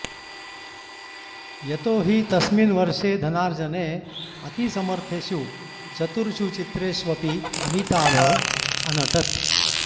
यतो हि तस्मिन् वर्षे धनार्जने अतिसमर्थेषु चतुर्षु चित्रेष्वपि अमिताभः अनटत्